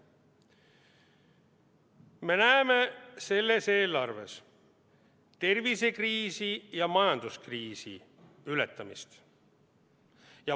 Me näeme selles eelarves tervisekriisi ja majanduskriisi ületamist.